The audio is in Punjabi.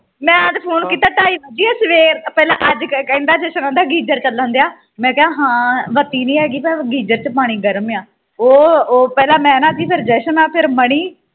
ਮੈਂ ਤੇ phone ਤਾ ਢਾਈ ਵਜੇ ਸਵੇਰ ਪਹਿਲਾਂ ਅੱਜ ਕਹਿੰਦਾ jashan ਉਹ ਆਦਾ geyser ਚੱਲਣ ਡਆ ਮੈਂ ਕਿਹਾ ਹਾਂ ਬਤੀ ਨਹੀਂ ਰਹਿ ਪਰ geyser ਚ ਪਾਣੀ ਗਰਮ ਆ ਉ ਓ ਪਹਿਲਾਂ ਮੈਂ ਨਾਤੀ ਫੇਰ ਫੇਰ jashan ਫੇਰ manni